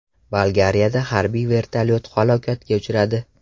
Bolgariyada harbiy vertolyot halokatga uchradi.